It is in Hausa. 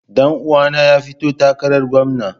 Dan uwana ya fito takarar gwamna.